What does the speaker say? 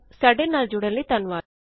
ਸਾਡੇ ਨਾਲ ਜੁਡ਼ਨ ਲਈ ਧੰਨਵਾਦ